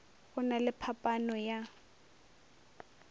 go na le phaphano ya